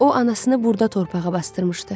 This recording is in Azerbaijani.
O anasını burda torpağa basdırmışdı.